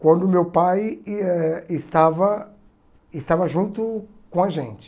quando meu pai e eh estava estava junto com a gente.